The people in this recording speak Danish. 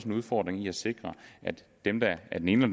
en udfordring i at sikre at dem der af den ene